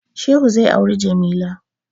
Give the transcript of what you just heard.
Shehu zai auri Jamila.